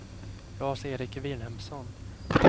Lars-Erik Vilhelmsson